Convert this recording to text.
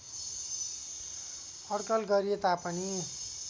अड्कल गरिए तापनि